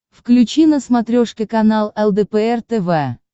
включи на смотрешке канал лдпр тв